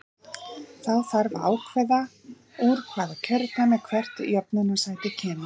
Þá þarf að ákvarða úr hvaða kjördæmi hvert jöfnunarsæti kemur.